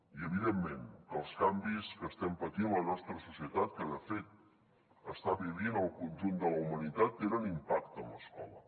i evidentment que els canvis que estem patint la nostra societat que de fet està vivint el conjunt de la humanitat tenen impacte en l’escola